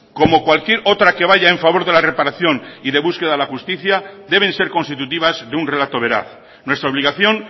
como cualquier otra que vaya en favor de la reparación y de búsqueda de la justicia deben ser constitutivas de un relato veraz nuestra obligación